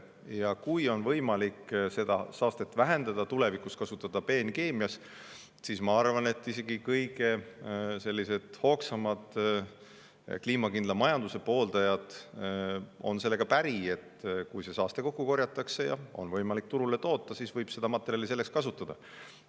Ja kui on võimalik seda saastet vähendada tulevikus, kasutada peenkeemias, siis ma arvan, et isegi kõige hoogsamad kliimakindla majanduse pooldajad on sellega päri, et kui see saaste kokku korjatakse ja on võimalik midagi turule toota, siis võib seda materjali selleks kasutada.